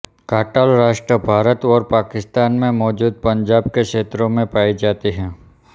काटल राष्ट्र भारत और पाकिस्तान में मौजूद पंजाब के क्षेत्रों में पाई जाती है